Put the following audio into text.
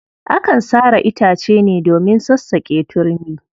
Akan sare itace ne domin sassaƙe turmi.